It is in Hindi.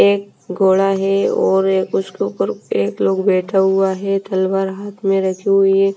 एक घोड़ा है और उसके ऊपर एक लोग बैठा हुआ है तलवार हाथ में रखी हुई--